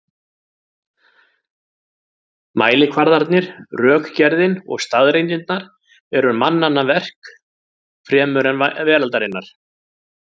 Mælikvarðarnir, rökgerðin og staðreyndirnar eru mannanna verk fremur en veraldarinnar.